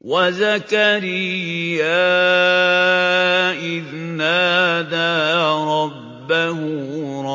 وَزَكَرِيَّا إِذْ نَادَىٰ رَبَّهُ